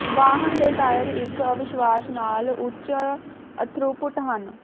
ਵਾਹਨ ਦੇ ਟਾਇਰ ਇੱਕ ਅਵਿਸ਼ਵਾਸ਼ ਨਾਲ ਉੱਚ ਥ੍ਰੂਪੁੱਟ ਹਨ